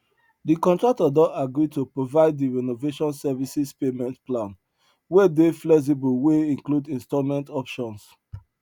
de contractor don agree to provide de renovation services payment plan wey dey flexible wey include installment options